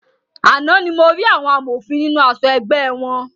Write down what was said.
Àna ní mo rí àwọn amòfin nínú aṣọ ẹgbẹ́ wọn.